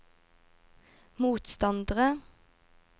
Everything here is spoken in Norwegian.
motstandere